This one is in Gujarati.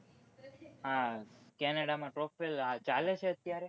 આ canada માં top vale ચાલે છે અત્યારે